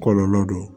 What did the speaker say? Kɔlɔlɔ do